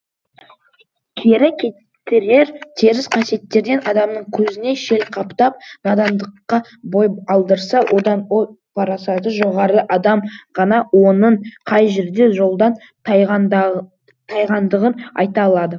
кері кетірер теріс қасиеттерден адамның көзіне шел қаптап надандыққа бой алдырса одан ой парасаты жоғары адам ғана оның қай жерде жолдан тайғандығын айта алады